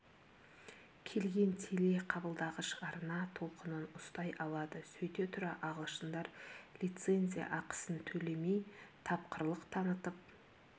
келген теле қабылдағыш арна толқынын ұстай алады сөйте тұра ағылшындар лицензия ақысын төлемей тапқырлық танытып